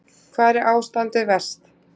Hvar er ástandið verst?